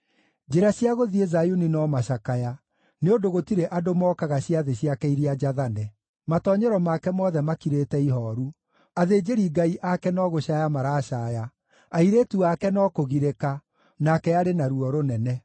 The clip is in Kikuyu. Njĩra cia gũthiĩ Zayuni no macakaya, nĩ ũndũ gũtirĩ andũ mookaga ciathĩ ciake iria njathane. Matoonyero make mothe makirĩte ihooru, athĩnjĩri-Ngai ake no gũcaaya maracaaya, airĩtu ake no kũgirĩka, nake arĩ na ruo rũnene.